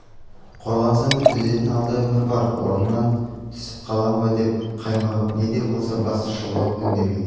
қорланса да төзетін алда өмір бар орнымнан түсіп қалам ба деп қаймығып не де болса бас шұлғып үндемей